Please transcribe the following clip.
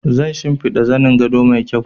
Zan shinfida zanin gado mai kyau